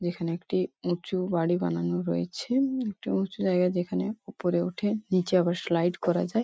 যেখানে একটি উঁচু বাড়ি বানানো রয়েছে একটা উঁচু জায়গা যেখানে ওপরে ওঠে নিচে আবার স্লাইড করা যায়।